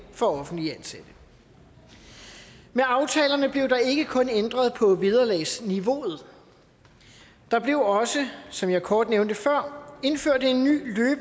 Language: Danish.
for offentligt ansatte med aftalerne blev der ikke kun ændret på vederlagsniveauet der blev også som jeg kort nævnte før indført en ny